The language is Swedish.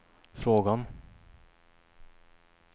frågan